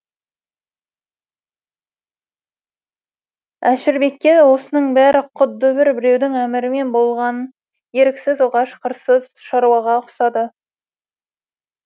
әшірбекке осының бәрі құдды бір біреудің әмірімен болған еріксіз оғаш қырсыз шаруаға ұқсады